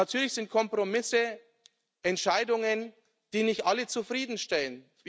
Natürlich sind Kompromisse Entscheidungen, die nicht alle zufriedenstellen.